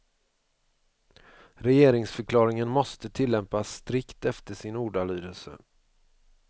Regeringsförklaringen måste tillämpas strikt efter sin ordalydelse.